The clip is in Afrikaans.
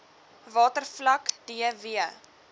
watervlak d w